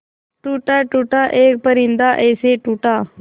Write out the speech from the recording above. टूटा टूटा एक परिंदा ऐसे टूटा